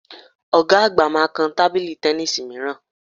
Ọ̀ga àgbà máa kan tábìlì tẹníìsì mìíràn